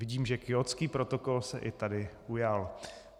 Vidím, že Kjótský protokol se i tady ujal.